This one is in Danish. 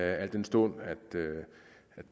al den stund at